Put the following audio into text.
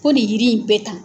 Fo nin yiri in bɛ tan.